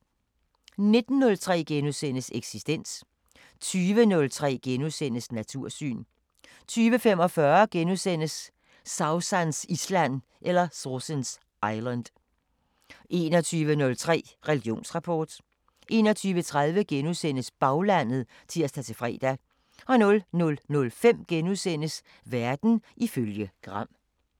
19:03: Eksistens * 20:03: Natursyn * 20:45: Sausans Island * 21:03: Religionsrapport 21:30: Baglandet *(tir-fre) 00:05: Verden ifølge Gram *